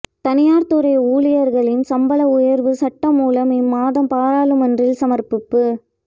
தனியார் துறை ஊழியர்களின் சம்பள உயர்வு சட்டமூலம் இம்மாதம் பாராளுமன்றில் சமர்ப்பிப்பு